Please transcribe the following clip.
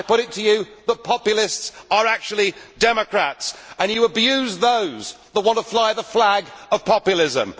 I put it to you that populists are actually democrats and you abuse those who want to fly the flag of populism.